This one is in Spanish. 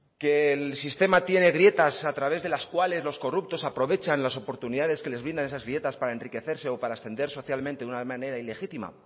que el sistema tiene grietas a través de las cuales los corruptos aprovechan las oportunidades que les brindan esas grietas para enriquecerse o para ascender socialmente de una manera ilegítima